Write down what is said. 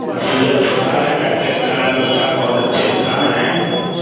अस्पताल है डॉक्टर आलम साहब बहुत अच्छे इंसान हैं।